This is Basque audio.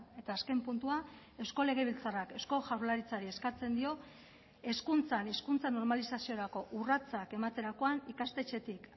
eta azken puntua eusko legebiltzarrak eusko jaurlaritzari eskatzen dio hezkuntzan hizkuntza normalizaziorako urratsak ematerakoan ikastetxetik